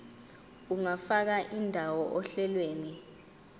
ungafaka indawo ohlelweni